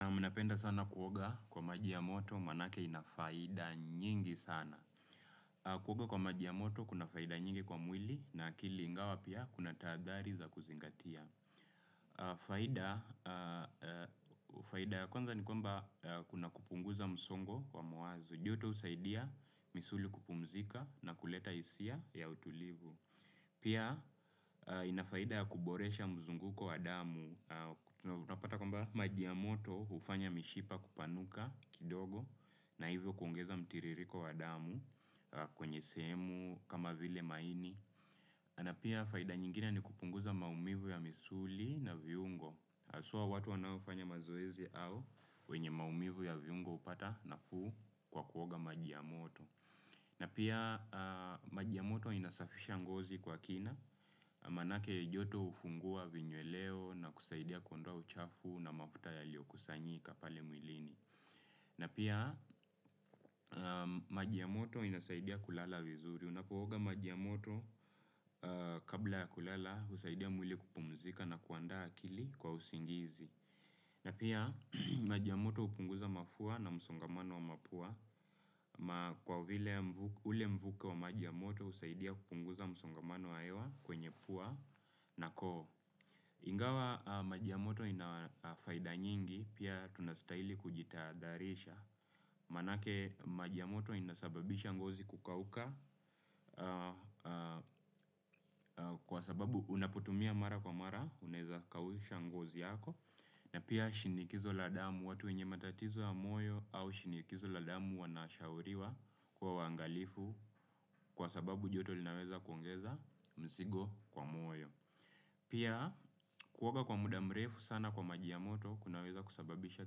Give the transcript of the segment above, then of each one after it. Nami napenda sana kuoga kwa maji ya moto, manake inafaida nyingi sana. Kuoga kwa maji ya moto kuna faidi nyingi kwa mwili na akili ingawa pia kunataadhari za kuzingatia, aah faida. Faida ya kwanza ni kwamba kuna kupunguza msongo wamawazo. Joto husaidia misuli kupumzika nakuleta hisia ya utulivu. Pia, aah inafaida ya kuboresha mzunguko wa damu na tunapata kwamba ya maji ya moto hufanya mishipa kupanuka kidogo na hivyo kuongeza mtiririko wa damu kwenye sehemu kama vile maini. Na pia faida nyingine ni kupunguza maumivu ya misuli na viungo. Asua watu wanaofanya mazoezi au wenye maumivu ya viungo hupata nafuu kwa kuoga maji ya moto. Na pia maji ya moto inasafisha ngozi kwa kina, manake joto hufungua vinyueleo na kusaidia kuondowa uchafu na mafuta yalio kusanyika pale mwilini. Na pia maji ya moto inasaidia kulala vizuri, unapo oga majiamoto kabla ya kulala husaidia mwili kupumzika na kuanda akili kwa usingizi. Na pia maji ya moto hupunguza mafua na msongamano wa mapua, kwa vile ule mvuke wa majiamoto husaidia kupunguza msongamano wahewa kwenye pua na koo. Ingawa maji ya moto inafaida nyingi, pia tunastahili kujitaadharisha. Manake maji ya moto inasababisha ngozi kukauka,.aah kwa sababu unapotumia mara kwa mara, unaeza kausha ngozi yako. Na pia shinikizo la damu watu wenye matatizo ya moyo au shinikizo la damu wanashauriwa kuwa wangalifu kwa sababu joto linaweza kuongeza msigo kwa moyo. Pia kuoga kwa muda mrefu sana kwa maji ya moto kunaweza kusababisha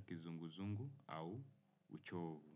kizunguzungu au uchovu.